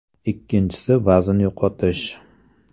Ikkinchisi vazn yo‘qotish.